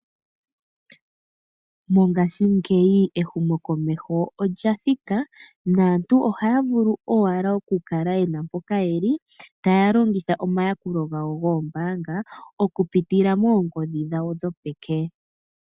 Mongashingeyi ehumo komeho olya thika, naantu ohaya vulu owala oku kala yena mpoka ye li taya longitha omayakulo gawo goombanga oku pitila moongodhi dhawo dhopeke.